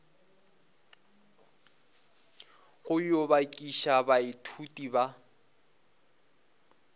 go yo bakiša baithuti ba